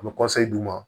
An bɛ d' u ma